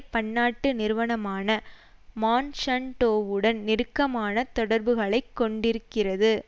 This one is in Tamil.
பன்னாட்டு நிறுவனமான மான்ஸான்டோவுடன் நெருக்கமான தொடர்புகளை கொண்டிருக்கிறது